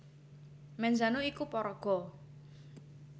Menzano iku paraga